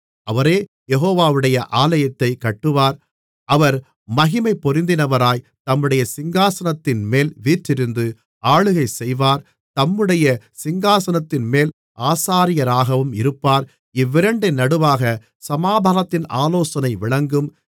அவரே யெகோவாவுடைய ஆலயத்தைக் கட்டுவார் அவர் மகிமைபொருந்தினவராய் தம்முடைய சிங்காசனத்தின்மேல் வீற்றிருந்து ஆளுகை செய்வார் தம்முடைய சிங்காசனத்தின்மேல் ஆசாரியராகவும் இருப்பார் இவ்விரண்டின் நடுவாகச் சமாதானத்தின் ஆலோசனை விளங்கும்